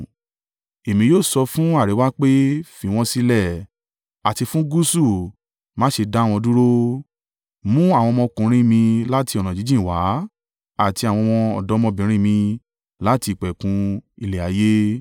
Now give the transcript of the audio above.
Èmi yóò sọ fún àríwá pé, ‘Fi wọ́n sílẹ̀!’ Àti fún gúúsù, ‘Má ṣe dá wọn dúró.’ Mú àwọn ọmọkùnrin mi láti ọ̀nà jíjìn wá àti àwọn ọ̀dọ́mọbìnrin mi láti ìpẹ̀kun ilẹ̀ ayé—